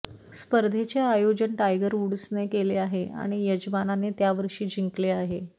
स्पर्धेचे आयोजन टायगर वूड्सने केले आहे आणि यजमानाने त्या वर्षी जिंकले आहे